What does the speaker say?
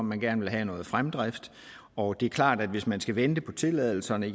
man gerne vil have noget fremdrift og det er klart at hvis man skal vente på tilladelserne